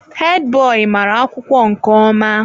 Hedi boyi mara akwụkwọ nke ọma.